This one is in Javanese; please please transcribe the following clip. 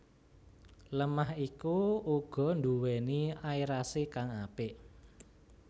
Lemah iku uga nduwéni aerasi kang apik